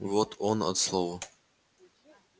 вот он от слова